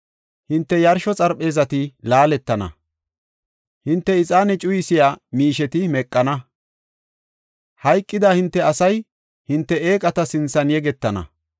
Hinte yarsho xarpheezati laaletana; hinte ixaane cuyisiya miisheti meqana; hayqida hinte asay hinte eeqata sinthan yegetana.